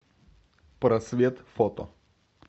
просвет фото